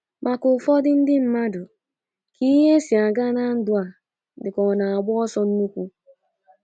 Maka ụfọdụ ndị mmadu, ka ihe si aga na ndụ a dịka o na-agba ọsọ nnukwu